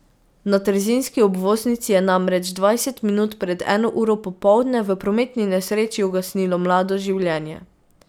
Na trzinski obvoznici je namreč dvajset minut pred eno uro popoldne v prometni nesreči ugasnilo mlado življenje.